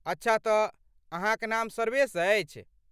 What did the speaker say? अच्छा तँ, अहाँक नाम सर्वेश अछि।